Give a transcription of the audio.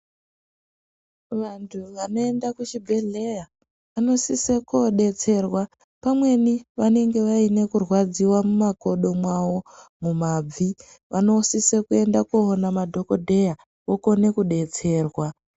Vantu vanoenda kuchi bhedhleya vanosise kodetserwa pamweni vanenge vaine kurwadziwa muka kodo mwavo mumabvi vanosise kuenda koona madhokodheya vokone kudetserwa .